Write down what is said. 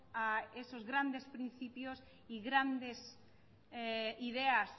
a esos grandes principios y grandes ideas